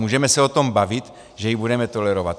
Můžeme se o tom bavit, že ji budeme tolerovat.